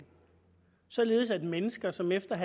således at mennesker som efter en